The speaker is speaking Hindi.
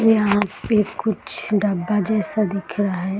यहां पे कुछ डब्बा जैसा दिख रहा है।